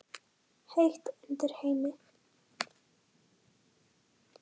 Heitt undir Heimi?